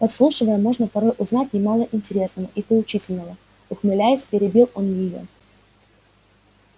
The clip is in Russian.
подслушивая можно порой узнать немало интересного и поучительного ухмыляясь перебил он её